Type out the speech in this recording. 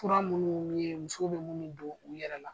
Fura munnu be yen musow be munnu don u yɛrɛ la